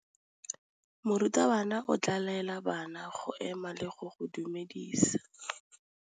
Morutabana o tla laela bana go ema le go go dumedisa.